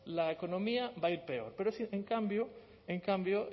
la economía va a ir peor en cambio en cambio